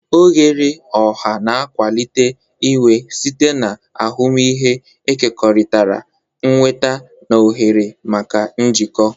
Oghere ọha na-akwalite inwe site na ahụmịhe ekekọrịtara, nnweta na ohere maka njikọ.